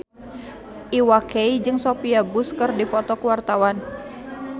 Iwa K jeung Sophia Bush keur dipoto ku wartawan